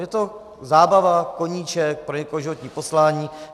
Je to zábava, koníček, pro někoho životní poslání.